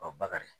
bakari